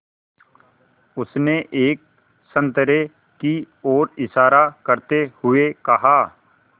उसने एक संतरे की ओर इशारा करते हुए कहा